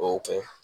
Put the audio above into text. O y'o kɛ